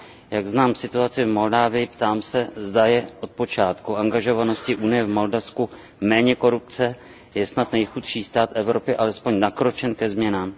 Jak znám situaci v Moldavsku, ptám se, zda je od začátku angažovanosti Unie v Moldavsku méně korupce, má snad nejchudší stát Evropy alespoň nakročeno ke změnám?